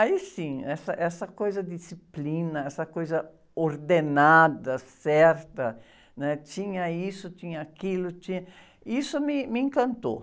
Aí sim, essa, essa coisa disciplina, essa coisa ordenada, certa, né? Tinha isso, tinha aquilo, tinha, isso me, me encantou.